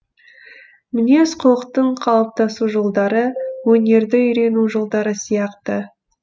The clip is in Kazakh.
мінез кұлықтың қалыптасу жолдары өнерді үйрену жолдары сияқты